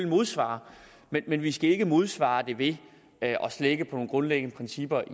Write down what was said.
modsvare men vi skal ikke modsvare det ved at slække på nogle grundlæggende principper